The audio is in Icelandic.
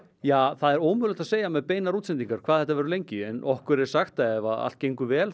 það er ómögulegt að segja með beinar útsendingar hvað þetta verður lengi en okkur er sagt að ef allt gengur vel